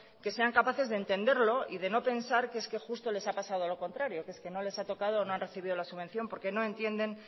que sean capaces de entenderlo y de no pensar justo que le ha pasado lo contrario que es que no les ha tocado o no han recibido la subvención porque no entienden